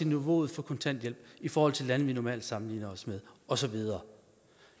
niveauet for kontanthjælp i forhold til lande vi normalt sammenligner os med og så videre